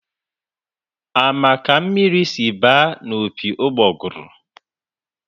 Ama ka mmiri sịrị ba n'opi ugbọguru?